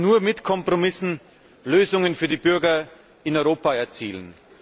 Denn wir werden nur mit Kompromissen Lösungen für die Bürger in Europa erzielen.